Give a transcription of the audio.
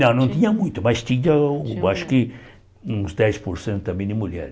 Não, não tinha muito, mas tinha um acho que uns dez por cento também de mulher.